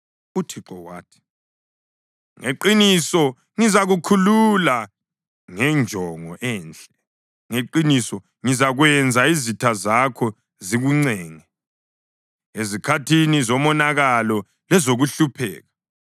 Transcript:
UThixo wathi, “Ngeqiniso ngizakukhulula ngenjongo enhle; ngeqiniso ngizakwenza izitha zakho zikuncenge ezikhathini zomonakalo lezokuhlupheka.